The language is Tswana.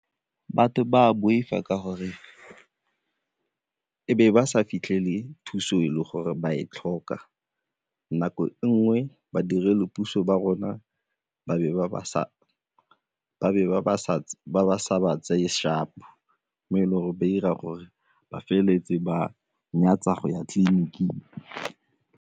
Batho ba boifa ka gore e be ba sa fitlhele thuso e le gore ba e tlhoka, nako e nngwe badiredi puso ba rona ba be ba sa ba tseye sharp-o mo e leng gore ba 'ira gore ba feleletse ba nyatsa go ya tleliniking.